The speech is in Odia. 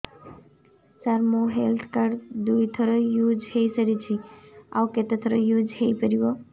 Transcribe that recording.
ସାର ମୋ ହେଲ୍ଥ କାର୍ଡ ଦୁଇ ଥର ୟୁଜ଼ ହୈ ସାରିଛି ଆଉ କେତେ ଥର ୟୁଜ଼ ହୈ ପାରିବ